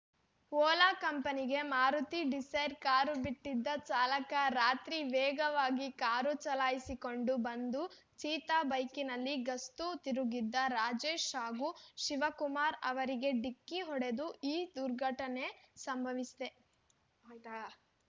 ವೋಲಾ ಕಂಪನಿಗೆ Maruti Dzire car ಬಿಟ್ಟಿದ್ದ ಚಾಲಕ ರಾತ್ರಿ ವೇಗವಾಗಿ ಕಾರು ಚಲಾಯಿಸಿಕೊಂಡು ಬಂದು ಚೀತಾ ಬೈಕ್‌ನಲ್ಲಿ ಗಸ್ತು ತಿರುಗುತ್ತಿದ್ದ ರಾಜೇಶ್ ಹಾಗೂ ಶಿವಕುಮಾರ್ ಅವರಿಗೆ ಡಿಕ್ಕಿ ಹೊಡೆದು ಈ ದುರ್ಘಟನೆ ಸಂಭವಿಸಿದೆ